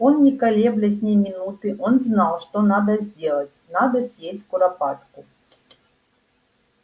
он не колеблясь ни минуты он знал что надо сделать надо съесть куропатку